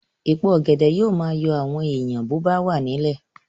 Èpo ọ̀gẹ̀dẹ̀ yóò máa yọ àwọn èèyàn bó bá wà nílẹ̀